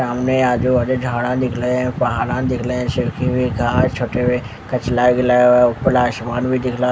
सामने आजू बाजू झाड़ा दिख रहे है पहाड़ा दिखरे है सुर्खी हुई झाड़ छोटे हुए ऊपर आसमान भी दिखरा है ।